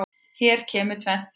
Hér kemur tvennt til.